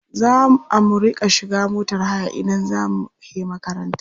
Za a mu riƙa shiga motar haya idan za mu he makaranta.